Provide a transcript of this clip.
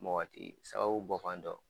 Mɔgɔ ti sababu bɔ fan dɔ